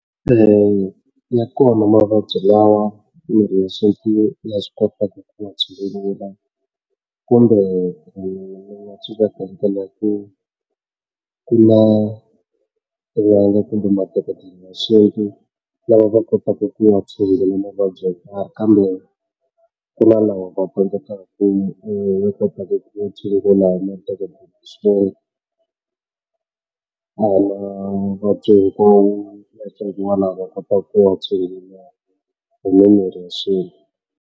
Eya ya kona mavabyi lawa ma ya swi kota ku kuma tshungula kumbe lava va kotaka ku ma tshungula kambe ku na lawa va tsandzekaka ku ku kota ku tshungula a hi mavabyi hinkwawo lawa va kotaka ku wa tshungula hi mimirhi ya xintu.